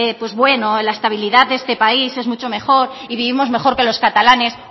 pues bueno la estabilidad de este país es mucho mejor y vivimos mejor que los catalanes